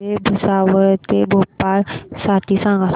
railway Bhusawal ते भोपाळ साठी सांगा